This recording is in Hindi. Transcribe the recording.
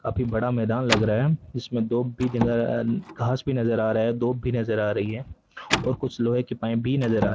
काफी बड़ा मैदान लग रहा है इसमें दोब भी घास भी नज़र आ रहा है दूब भी नज़र आ रही है और कुछ लोहे के पाइप भी नज़र आ रहे --